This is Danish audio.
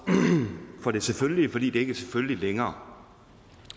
for det selvfølgelige fordi det ikke er selvfølgeligt længere